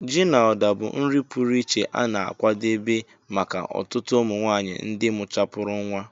Ji na Uda bụ nri pụrụ iche a na-akwadebe maka ọtụtụ ụmụ nwanyị ndị mụchapúrụ nwa